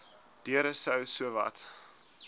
deure sou sowat